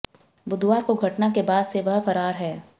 बुधवार को घटना के बाद से वह फरार है